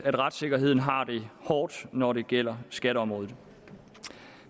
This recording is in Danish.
at retssikkerheden har det hårdt når det gælder skatteområdet